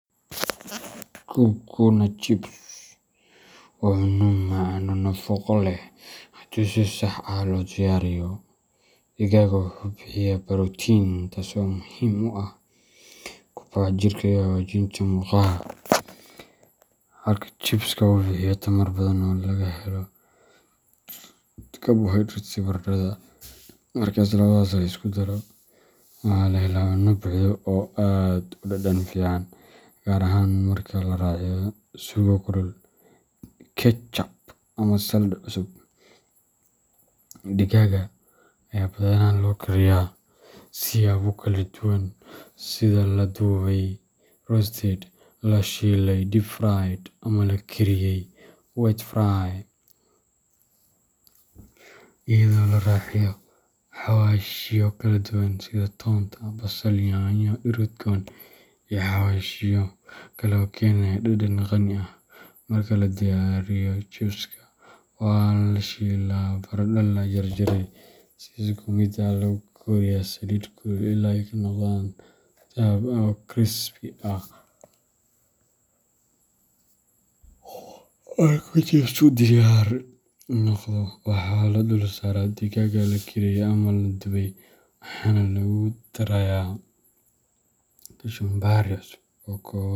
Kuku na chips waa cunno macaan oo nafaqo leh haddii si sax ah loo diyaariyo. Digaaga wuxuu bixiyaa borotiin, taasoo muhiim u ah kobaca jirka iyo hagaajinta murqaha, halka chipska uu bixiyo tamar badan oo laga helo karbohaydraytyada baradhada. Marka labadaas la isku daro, waxaa la helaa cunno buuxda oo aad u dhadhan fiican, gaar ahaan marka la raaciyo suugo kulul, ketchup, ama salad cusub. Digaagga ayaa badanaa loo kariyaa siyaabo kala duwan sida la dubay roasted, la shiilay deep fried, ama la kariyay wet fry, iyadoo la raaciyo xawaashyo kala duwan sida toonta, basal, yaanyo, dhir udgoon, iyo xawaashyo kale oo keenaya dhadhan qani ah. Marka la diyaariyo chipska, waxaa la shiilaa baradho la jarjaray si isku mid ah oo lagu kariyo saliid kulul illaa ay ka noqdaan dahab ah oo crispy ah. Marka chipsku diyaar noqdo, waxaa la dulsaaraa digaagga la kariyay ama la dubay, waxaana lagu darayaa kachumbari cusub oo ka kooban.